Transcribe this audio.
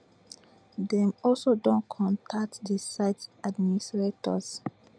dem also don contact di site administrators